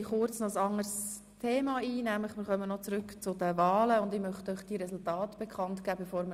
Wir diskutieren über den Rückweisungsantrag Köpfli.